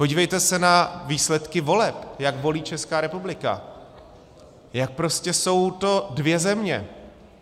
Podívejte se na výsledky voleb, jak volí Česká republika, jak prostě jsou to dvě země.